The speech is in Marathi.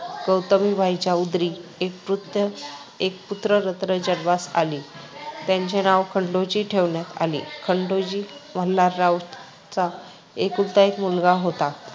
गौतमीबाईंच्या उदरी एक पुत्र एक पुत्ररत्न जन्मास आली. त्याचे नाव खंडू ठेवण्यात आली. खंडू हा मल्हाररावांचा एकुलता एक मुलगा होता.